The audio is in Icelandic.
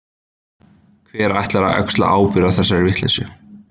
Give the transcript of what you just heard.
Hver ætlar að axla ábyrgð á þessari vitleysu?